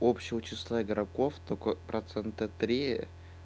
общего числа игроков только процента три